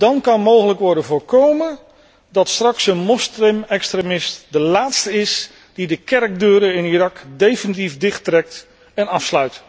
Dan kan mogelijk worden voorkomen dat straks een moslimextremist de laatste is die de kerkdeuren in Irak definitief dichttrekt en afsluit.